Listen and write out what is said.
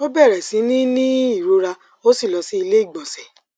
ó bẹrẹ sí ní ní ìrora ó sì lọ sí iléìgbọnsẹ